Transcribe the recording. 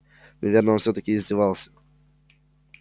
наверное он всё-таки издевался